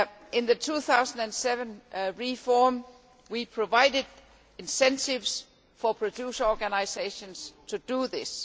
In the 2007 reform, we provided incentives for producer organisations to do this.